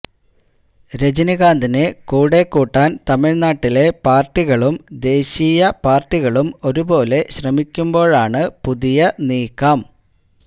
രജനീകാന്തിനെ കൂടെകൂട്ടാന് തമിഴ്നാട്ടിലെ പാര്ട്ടികളും ദേശീയ പാര്ട്ടികളും ഒരുപോലെ ശ്രമിക്കുമ്പോഴാണു പുതിയ നീക്കം